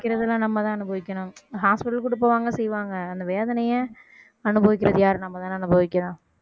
அனுபவிக்கிறது எல்லாம் நம்ம தான் அனுபவிக்கணும் hospital கூட்டிட்டு போவாங்க செய்வாங்க அந்த வேதனைய அனுபவிக்கிறது யாரு நம்மதானே அனுபவிக்கணும்